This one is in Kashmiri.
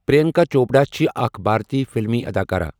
پریانکا چوپڑا چھ اكھ بھارتی فِلِمی اَداکارا۔